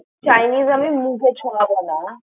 chinese আমি মুখে ছয়াবনা।